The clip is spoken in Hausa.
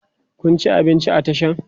Kun ci abinci a Tashan?